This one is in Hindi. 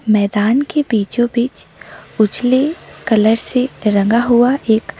मैदान के बिचो बीच उजले कलर से रंगा हुआ एक--